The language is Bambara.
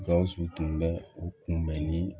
Gawusu tun bɛ u kunbɛnni